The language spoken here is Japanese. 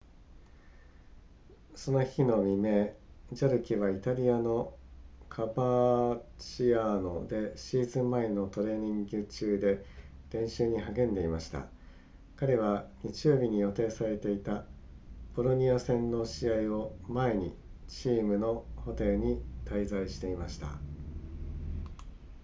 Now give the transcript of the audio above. その日の未明ジャルケはイタリアのカバーチアーノでシーズン前のトレーニング中で練習に励んでいました彼は日曜日に予定されていたボロニア戦の試合を前にチームのホテルに滞在していました